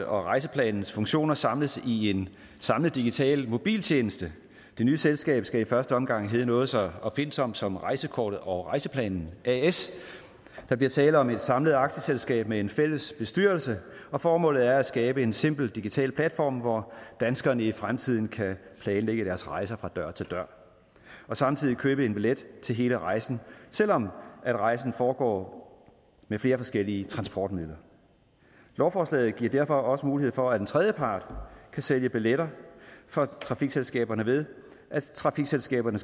og rejseplanens funktioner samles i en samlet digital mobiltjeneste det nye selskab skal i første omgang hedde noget så opfindsomt som rejsekortet og rejseplanen as der bliver tale om et samlet aktieselskab med en fælles bestyrelse og formålet er at skabe en simpel digital platform hvor danskerne i fremtiden kan planlægge deres rejser fra dør til dør og samtidig købe en billet til hele rejsen selv om rejsen foregår med flere forskellige transportmidler lovforslaget giver derfor også mulighed for at en tredjepart kan sælge billetter for trafikselskaberne ved at trafikselskaberne